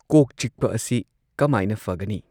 ꯀꯣꯛ ꯆꯤꯛꯄ ꯑꯁꯤ ꯀꯃꯥꯏꯅ ꯐꯒꯅꯤ꯫